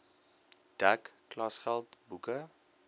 dek klasgeld boeke